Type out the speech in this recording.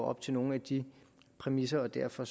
op til nogle af de præmisser derfor